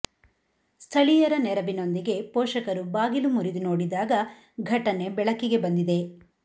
ಸ್ಥಳೀಯರ ನೆರವಿನೊಂದಿಗೆ ಪೋಷಕರು ಬಾಗಿಲು ಮುರಿದು ನೋಡಿದಾಗ ಘಟನೆ ಬೆಳಕಿಗೆ ಬಂದಿದೆ